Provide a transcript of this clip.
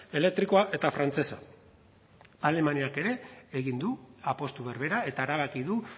elektrikoa eta frantsesa alemaniak ere egin du apustu berbera eta erabaki du